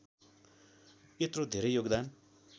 यत्रो धेरै योगदान